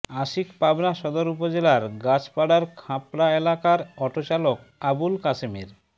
আশিক পাবনা সদর উপজেলার গাছপাড়ার খাঁপাড়া এলাকার অটোচালক আবুল কাশেমের